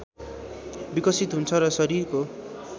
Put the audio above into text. विकसित हुन्छ र शरीरको